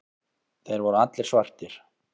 Þeir voru allir svartir.